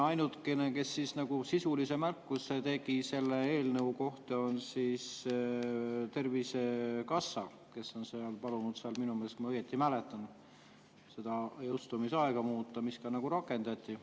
Ainukene, kes nagu sisulise märkuse tegi selle eelnõu kohta, oli Tervisekassa, kes on palunud minu meelest, kui ma õigesti mäletan, seda jõustumisaega muuta, mida ka rakendati.